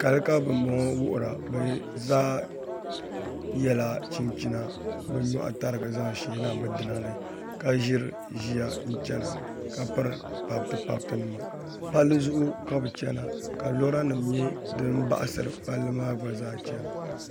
Kali ka bin bɔŋɔ wuhura bi zaa yɛla chinchina bi nyoɣu tarigi zaŋ sheena bi dina ni ka ʒiri ʒiya n chɛna ka piri pabiti pabiti nima palli zuɣu ka bi chɛna ka lora nim nyɛ din baɣasiri palli maa gba zaa chɛna